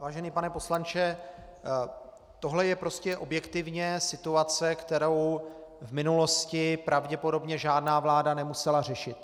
Vážený pane poslanče, tohle je prostě objektivně situace, kterou v minulosti pravděpodobně žádná vláda nemusela řešit.